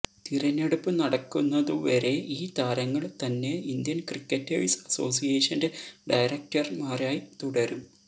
തിരഞ്ഞെടുപ്പ് നടക്കുന്നതു വരെ ഈ താരങ്ങള് തന്നെ ഇന്ത്യന് ക്രിക്കറ്റേഴ്സ് അസോസിയേഷന്റെ ഡയറക്ടര്മാരായി തുടരും